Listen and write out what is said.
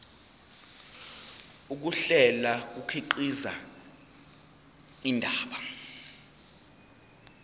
ukuhlela kukhiqiza indaba